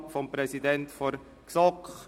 Wahl des Präsidenten der GSoK;